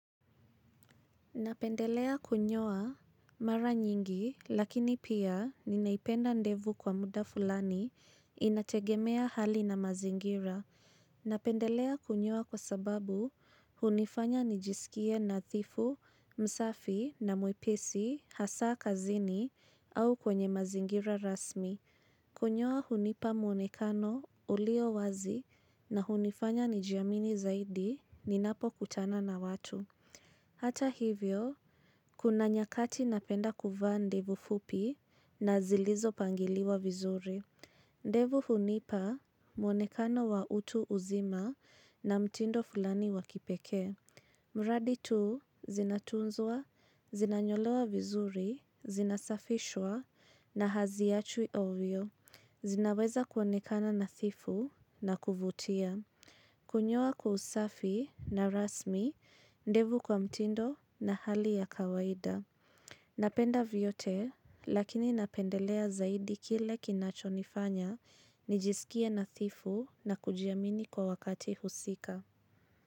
Napendelea kunyoa mara nyingi lakini pia napenda ndevu kwa muda fulani inategemea hali na mazingira. Napendelea kunyoa kwa sababu hunifanya nijisikie na nadhifu, msafi na mwepesi, hasa kazini au kwenye mazingira rasmi. Kunyoa hunipa muonekano ulio wazi na hunifanya nijiamini zaidi ninapo kutana na watu. Hata hivyo, kuna nyakati napenda kuvaa ndevu fupi na zilizo pangiliwa vizuri. Ndevu hunipa, mwonekano wa utu uzima na mtindo fulani wa kipekee. Mradi tu, zinatunzwa, zinanyolewa vizuri, zinasafishwa na haziachwi hovyo. Zinaweza kuonekana nadhifu na kuvutia. Kunyoa kusafi na rasmi, ndevu kwa mtindo na hali ya kawaida. Napenda vyote, lakini napendelea zaidi kile kinacho nifanya, nijisikie nadhifu na kujiamini kwa wakati husika.